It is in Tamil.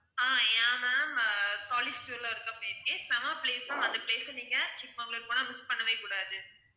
ஆஹ் yeah ma'am college tour ல ஒருக்கா போயிருக்கேன் செம place அந்த place அ நீங்க சிக்மங்களூர் போனா miss பண்ணவே கூடாது